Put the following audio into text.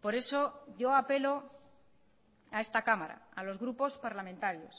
por eso yo apelo a esta cámara a los grupos parlamentarios